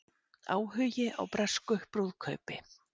Áhugi á bresku brúðkaupi